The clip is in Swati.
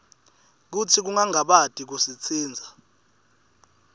kutsi ungangabati kusitsintsa